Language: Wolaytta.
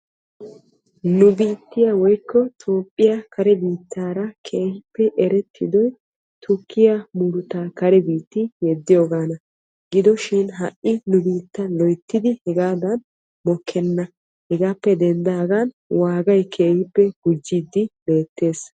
Nu biittiya woyko toophiyaa kare biittara keehippe erettiddoy tukkiya murutta kare biitta kare biitti yeddiyogana. Giddoshin ha'i nu biittan mokkenna gatekka gujjidde beetees.